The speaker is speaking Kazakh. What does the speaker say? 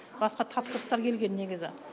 басқа тапсырыстар келген негізі